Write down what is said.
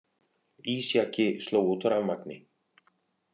Ísjaki sló út rafmagni